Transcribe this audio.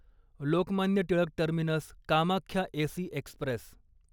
Lokmanya Tilak terminus Kamakhya AC Express